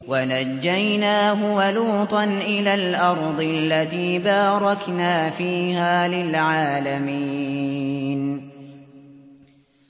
وَنَجَّيْنَاهُ وَلُوطًا إِلَى الْأَرْضِ الَّتِي بَارَكْنَا فِيهَا لِلْعَالَمِينَ